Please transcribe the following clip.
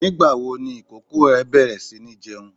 Nígbà wo ni ìkókó ẹ bẹ̀rẹ̀ si ní jẹun?